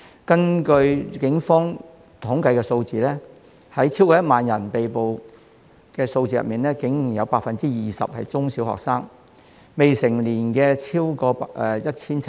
根據警方的統計數字，在超過1萬名被捕人士中，竟然有 20% 是中小學生，未成年者超過 1,700。